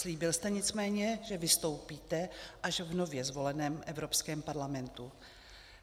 Slíbil jste nicméně, že vystoupíte až v nově zvoleném Evropském parlamentu.